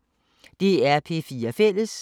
DR P4 Fælles